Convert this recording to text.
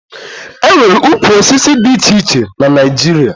E nwere ukwu osisi dị iche iche na Naịjirịa